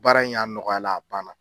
Baara in a nɔgɔya la a banna